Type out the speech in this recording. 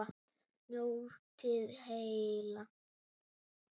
Njótið heil.